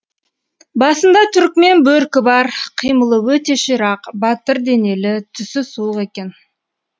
басында түрікмен бөркі бар қимылы өте ширақ батыр денелі түсі суық екен